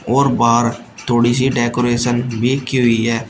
और बाहर थोड़ी सी डेकोरेशन भी की हुई है।